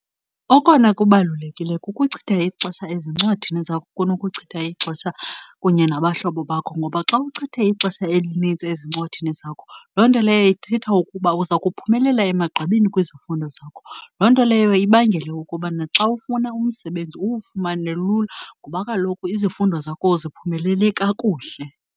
Okona kubalulekileyo kukuchitha ixesha ezincwadini zakho kunokuchitha ixesha kunye nabahlobo bakho, ngoba xa uchithe ixesha elinintsi ezincwadini zakho, loo nto leyo ithetha ukuba uza kuphumelela emagqabini kwizifundo zakho. Loo nto leyo ibangele ukuba naxa ufuna umsebenzi uwufumane lula ngoba kaloku izifundo zakho uziphumelele kakuhle.